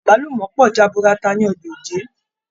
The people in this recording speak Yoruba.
Agbalumọ pọ jaburata ni Ọjà Òjé.